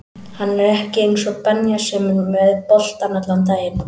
Hann er ekki eins og Benja sem er með boltann allan daginn